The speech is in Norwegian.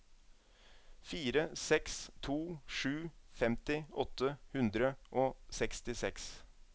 fire seks to sju femti åtte hundre og sekstiseks